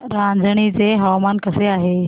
रांझणी चे हवामान कसे आहे